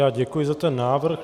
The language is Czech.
Já děkuji za ten návrh.